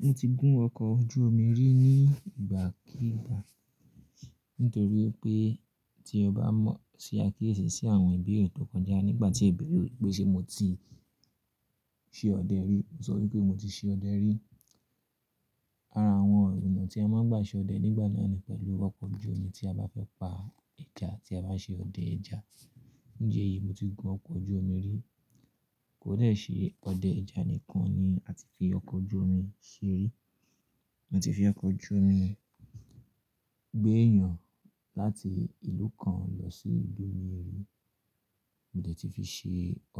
Mo ti gún ọkọ̀ ojú omi rí ní ìgbà kigbà nítorí pé tí ọ bá mọ̀ sí akíyèsí sí àwọn ìbéèrè tó kọjá nígbà tí ì bẹ̀rẹ̀ wípé ṣe mo ti ṣe ọdẹ rí? Mo sọ wípé mo ti ṣe ọdẹ rí. Ara àwọn ọ̀nà tí a máa ń gbà ṣe ọdẹ nígbà náà ni pẹ̀lú ọkọ̀ ojú omi tí a bá fẹ́ pa ẹja tí a bá ṣe ọdẹ ẹja. Nje yìí mo ti gun ọkọ̀ ojú omi rí, kò dẹ̀ ṣe ọdẹ ẹja nìkan ni a ti fi ọkọ̀ ojú omi ṣe rí. A ti fi ọkọ̀ ojú omi gbé èèyàn láti ìlú kan lọ sí ìlú mìíràn. Mo dẹ̀ ti fi ṣe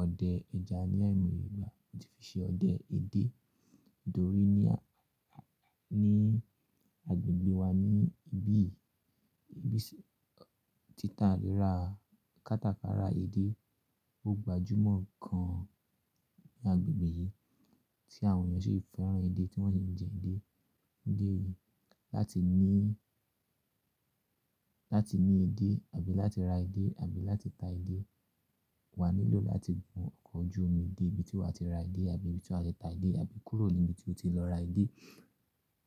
ọdẹ ẹja ní ai moye ìgbà, mo ti fi ṣe ọdẹ edé, tórí ní agbègbè wa ni ibí ti tà léra, kátàkárà edé, ó gbajúmọ̀ gan ní agbègbè yìí tí àwọn èèyàn ṣe fẹ́ràn edé tí wọ́n ṣe ń jẹ edé. Níje yìí láti ní, láti ní edé àbí láti ra edé àbí láti ta edé, wà á nílò láti gun ọkọ̀ ojú omi dé ibi tí wà á ti ra edé àbí ibi tí wà á ti ta edé àbí kúrò ní ibi tí o ti lọ ra edé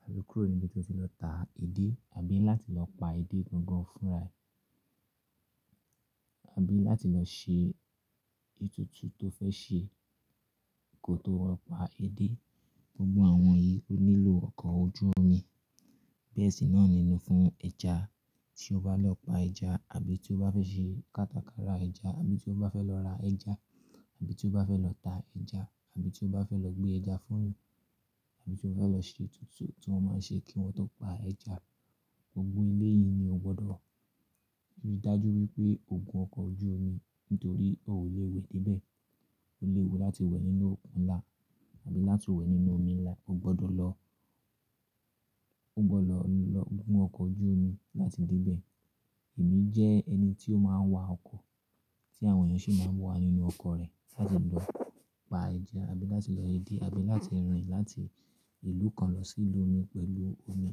àbí kúrò ní ibi tí o ti lọ ta edé àbí láti lọ pa edé gangan fúnra àbí láti lọ ṣe ètùtù tó fẹ́ ṣe kí o tó pa edé. Gbogbo àwọn yìí ó nílò ọkọ̀ ojú omi. Bẹ́ẹ̀ sì náà ni nu fún ẹja tí o bá lọ pa ẹja àbí tí o bá fẹ́ ṣe kátàkárà ẹja àbí tí o bá fẹ́ lọ ra ẹja àbí tí o bá fẹ́ lọ ta ẹja àbí tí o bá fẹ́ lọ gbé ẹja fún èèyàn àbí tí o bá fẹ́ lọ ṣe ètùtù tí wọ́n máa ń ṣe kí wọn tó pa ẹja. Gbogbo éleyìí ni o gbọdọ̀ ríi dájú wípé o gun ọkọ̀ ojú omi nítorí o ò lè wẹ́ dé ibẹ̀. O lè wẹ́ láti wẹ̀ nínú òkun ńlá àbí láti wẹ̀ nínú omi ńlá, o gbọdọ̀ lọ, o gbọdọ̀ lọ gun ọkọ̀ ojú omi láti dé ibẹ̀. Èmi jẹ́ ẹni tí ó máa ń wa ọkọ̀ tí àwọn èèyàn sì máa ń wà nínú ọkọ̀ rẹ̀ láti lọ pa ẹja àbí láti lọ edé àbí láti rìn láti ìlú kan lọ sí ìlú mi pẹ̀lú omi.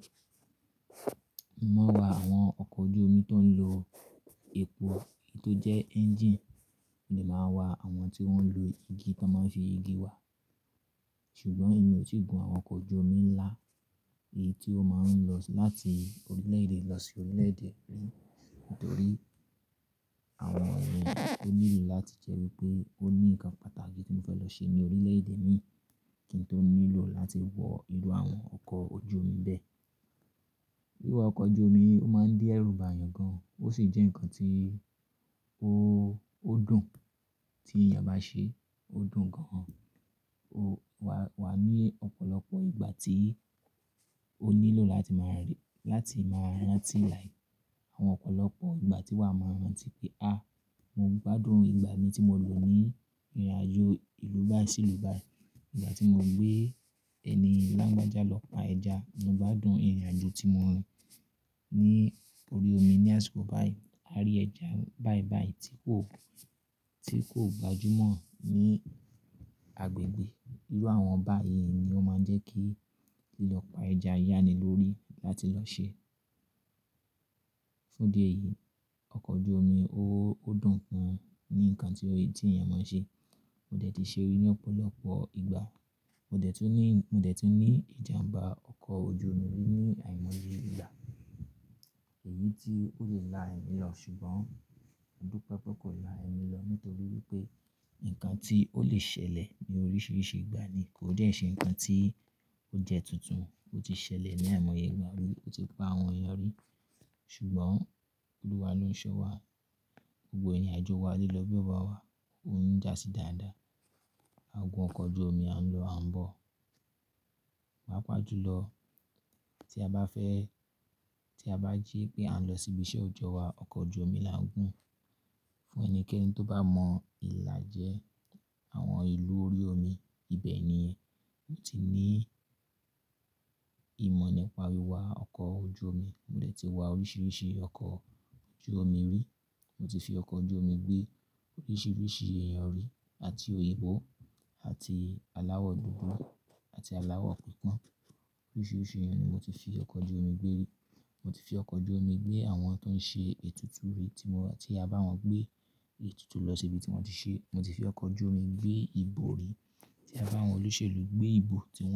Mo máa ń wa àwọn ọkọ̀ ojú omi tó ń lo epo, èyí tó jẹ́ engine. Mo lè máa ń wa àwọn tí ó ń lo igi tí wọ́n máa ń fi igi wà á. Ṣùgbọ́n èmi ò tí gun ọkọ̀ ojú omi ńlá, èyí tí ó máa ń lọ láti orílẹ̀-èdè lọ sí orílẹ̀-èdè mìíràn nítorí àwọn ẹ̀rọ tó nílò láti jẹ́ wípé ó ní ǹkan pàtàkì tí mo fẹ́ lọ ṣe ní orílẹ̀-èdè mi kí n tó nílò láti wọ irú àwọn ọkọ̀ ojú omi bẹ́ẹ̀. Wíwá ọkọ̀ ojú omi ó máa ń dí ẹrú bàa èèyàn gan, ó sì jẹ́ ǹkan tí ó dùn tí èèyàn bá ṣe, ó dùn gan-an. Wa ní ọ̀pọ̀lọpọ̀ ìgbà tí ó nílò láti máa rántí láì, àwọn ọ̀pọ̀lọpọ̀ ìgbà tí wà á máa rántí pé, "àá mo gbádùn ìgbà mi tí mo lò ní ìrìnàjò ìlú bá sí ìlú bá yìí. Ìgbà tí mo gbé ẹni alágbájá lọ pa ẹja, mo gbádùn ìrìnàjò tí mo rin ní orí omi ní àsìkò bá yìí. A rí ẹja báìbàì tí kò gbajúmọ̀ ní agbègbè." Irú àwọn bá yìí ni ó máa ń jẹ́ kí lílọ pa ẹja yá ni lórí láti lọ ṣe. Fún dé yìí, ọkọ̀ ojú omi ó dùn gan-an ni ǹkan tí èèyàn máa ń ṣe. Mo dẹ̀ ti ṣe rí ní ọ̀pọ̀lọpọ̀ ìgbà. Mo dẹ̀ ti ní ìjàǹbá ọkọ̀ ojú omi rí ní àìmọye ìgbà. Èyí tí ó lè la ẹ̀mí lọ ṣùgbọ́n, modúpẹ̀ pẹ̀ kò la ẹ̀mí lọ nítorí wípé ǹkan tí ó lè ṣẹlẹ̀ ni oríṣiríṣi ìgbà ni, kò dẹ̀ ṣe ǹkan tí ó jẹ́ tuntun. Ó ti ṣẹlẹ̀ ní àìmọye ìgbà rí, ó ti pa àwọn èèyàn rí ṣùgbọ́n Olúwa ló ń ṣọ́ wa. Gbogbo ìrìnàjò wa lè lọ bí ó bá wà, ó ń jásí dáadáa. A gun ọkọ̀ ojú omi a ń lọ ààbọ̀, pápà jùlọ tí a bá fẹ́, tí a bá ji pé a ń lọ síbi iṣẹ́ òjọ́ wa, ọkọ̀ ojú omi la ń gun. Fún ẹnikẹ́ni tó bá mọ ìlàjẹ, àwọn ìlú orí omi ibẹ̀ ni mo ti ní ìmọ̀ nípa wíwá ọkọ̀ ojú omi. Mo dẹ̀ ti wá oríṣiríṣi ọkọ̀ ojú omi rí. Mo ti fi ọkọ̀ ojú omi gbé oríṣiríṣi èèyàn rí àti òyìnbó àti aláwọ̀ dúdú àti aláwọ̀ pọ̀npọ́n. Oríṣiríṣi èèyàn ni mo ti fi ọkọ̀ ojú omi gbé rí. Mo ti fi ọkọ̀ ojú omi gbé àwọn tó ń ṣe ètùtù rere tí wọ́n, tí a bá wọn gbé ètùtù lọ sí ibi tí wọ́n ti ṣe. Mo ti fi ọkọ̀ ojú omi gbé ìbò rí tí a bá àwọn olóṣèlú gbé ìbò tí wọ́n ṣe.